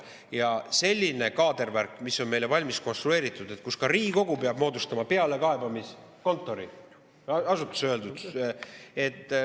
Ja selline kaadervärk on meile valmis konstrueeritud, nii et ka Riigikogu peab moodustama pealekaebamiskontori.